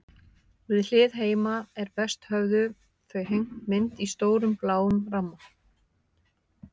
Við hlið heima er best höfðu þau hengt mynd í stórum, bláum ramma.